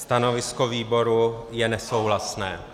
Stanovisko výboru je nesouhlasné.